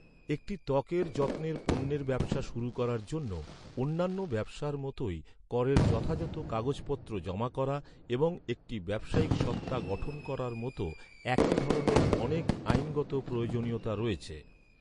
একটি ত্বকের যত্নের পণ্যের ব্যবসা শুরু করার জন্য, অন্যান্য ব্যবসার মতই করের যথাযথ কাগজপত্র জমা করা এবং একটি ব্যবসায়িক সত্তা গঠন করার মতো একই ধরনের অনেক আইনগত প্রয়োজনীয়তা রয়েছে।